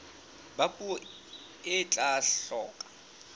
ba puo e tla hloka